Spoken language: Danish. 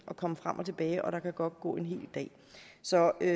komme frem og tilbage og der kan godt gå en hel dag så i